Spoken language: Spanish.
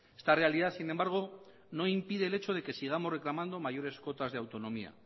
esta realidad sin embargo no impide el hecho de que sigamos reclamando mayores cotas de autonomía